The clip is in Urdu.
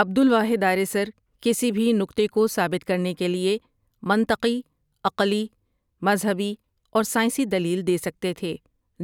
عبدالواحد آریسر کسی بھی نکتے کو ثابت کرنے کے لٸے منطقی، عقلی، مذھبی اور ساٸنسی دلیل دے سکتے تھے